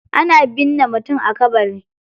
Ana binne mutum a kabari.